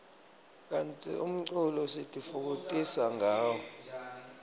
kantsi umculo sitifokotisa ngawo